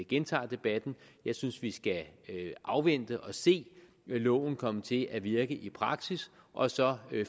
gentager debatten jeg synes vi skal afvente og se loven komme til at virke i praksis og så